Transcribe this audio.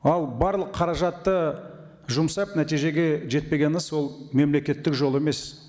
ал барлық қаражатты жұмсап нәтижеге жетпегені сол мемлекеттік жол емес